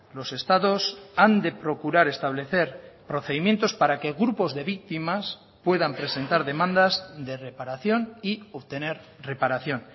los estados han de procurar establecer procedimientos para que grupos de víctimas puedan presentar demandas de reparación y obtener reparación